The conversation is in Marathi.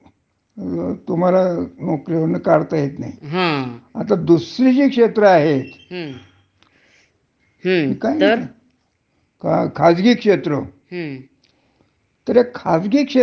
तर हे खाजगी क्षेत्रामध्ये कस आहे? हं. की जे, तुम्ही जोपर्यंत तुमच्या वारीष्टांची मर्जी संभाळून, हं. योग्य प्रकारे काम करता. हं.